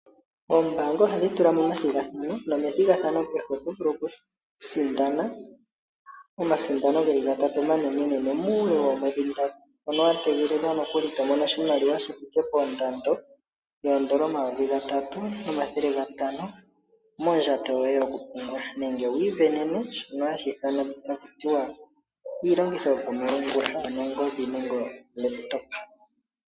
Oombaanga ohadhi ningi omathigathano nomethigathano kehe oto vulu okusindana omasindano ge li gatatu omanenene muule woomwedhi ndatu. Mono wa tegelelwa noku li to mono oshimaliwa shi thike pondando yoodola omayovi gatatu nomathele gatano mondjato yoye yokupungula nenge wi isindanene shono hashi ithanwa taku tiwa iilongitho yopamalungula; ano ongodhi nenge olekitopa.